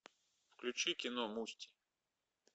включи кино мусти